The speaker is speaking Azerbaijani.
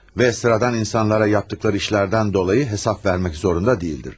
Və sıradan insanlara etdikləri işlərdən dolayı hesab vermək zorunda deyildir.